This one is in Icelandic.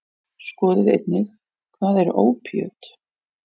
Skoðið einnig: Hvað eru ópíöt?